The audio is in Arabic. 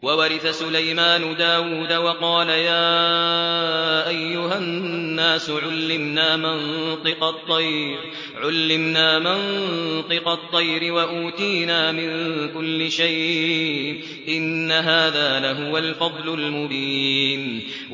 وَوَرِثَ سُلَيْمَانُ دَاوُودَ ۖ وَقَالَ يَا أَيُّهَا النَّاسُ عُلِّمْنَا مَنطِقَ الطَّيْرِ وَأُوتِينَا مِن كُلِّ شَيْءٍ ۖ إِنَّ هَٰذَا لَهُوَ الْفَضْلُ الْمُبِينُ